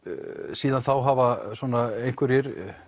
síðan þá hafa svona einhverjir